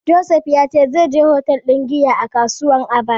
Joseph ya ce zai je hotel ɗin giya a kasuwar Aba.